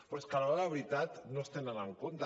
però és que a l’hora de la veritat no es tenen en compte